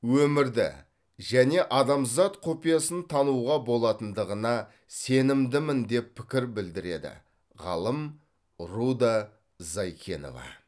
өмірді және адамзат құпиясын тануға болатындығына сенімдімін деп пікір білдіреді ғалым руда зайкенова